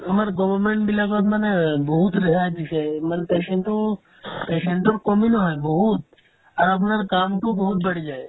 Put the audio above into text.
আমাৰ government বিলাকত মানে বহুত ৰেহাই দিছে মানে patient তো patient তোক komi নহয় বহুত আৰু আপোনাৰ কামতো বহুত বাঢ়ি যায়